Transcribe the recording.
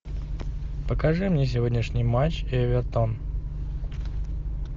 покажи мне сегодняшний матч эвертон